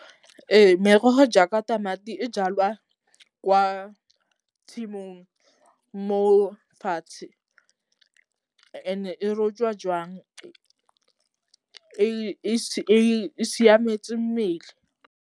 Ee merogo jaaka tamati e jalwa kwa tshimong mo fatshe and-e rojwa joang e siametseng mmele.